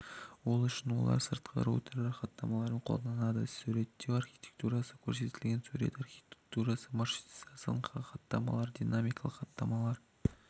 ол үшін олар сыртқы роутерлер хаттамаларын қолданады суретеу архитектурасы көрсетілген сурет архитектурасы маршрутизацияның хаттамалары динамикалық хаттамалар